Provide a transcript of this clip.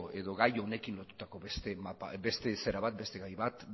edo gai honekin lotutako beste gai bat